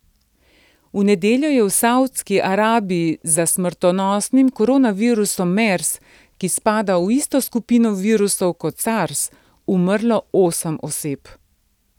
V nedeljo je v Savdski Arabiji za smrtonosnim koronavirusom mers, ki spada v isto skupino virusov kot sars, umrlo osem oseb.